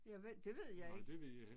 Jeg det ved jeg ikke